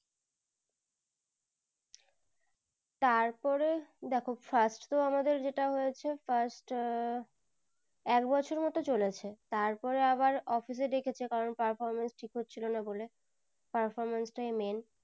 তারপরে দেখো first তো আমাদের যেটা হয়েছে first আহ এক বছর মতন চলেছে তারপরে আবার office এ ডেকেছে কারণ performance ঠিক হচ্ছিলো না বলে performance তাই main